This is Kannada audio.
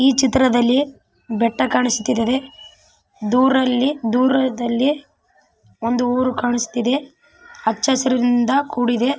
ಈ ಚಿತ್ರದಲ್ಲಿ ಬೆಟ್ಟ ಕಾಣಿಸ್ತಾ ಇದೆ ದೂರದಲ್ಲಿ ಒಂದು ಊರು ಕಾಣಿಸ್ತಾ ಇದೆ ಹಚ್ಚ ಹಸಿರಿನಿಂದ ಕೂಡಿದೆ.